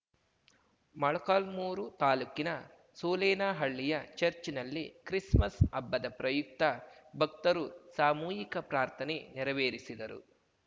ಮೊಳಕಾಲ್ಮುರು ತಾಲೂಕಿನ ಸೋಲೆನಹಳ್ಳಿಯ ಚರ್ಚ್ ನಲ್ಲಿ ಕ್ರಿಸ್‌ಮಸ್‌ ಹಬ್ಬದ ಪ್ರಯುಕ್ತ ಭಕ್ತರು ಸಾಮೂಹಿಕ ಪ್ರಾರ್ಥನೆ ನೆರವೇರಿಸಿದರು